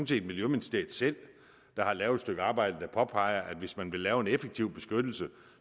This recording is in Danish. set miljøministeriet selv der har lavet et stykke arbejde der påpeger at hvis man vil lave en effektiv beskyttelse